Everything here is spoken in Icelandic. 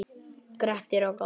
Grettir og Glámur